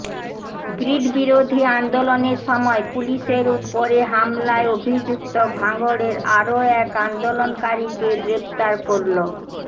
grid বিরোধী আন্দোলনের সময় পুলিশের উপরে হামলায় অভিযুক্ত ভাঙড়ের আরও এক আন্দোলনকারীকে গ্রেফতার করল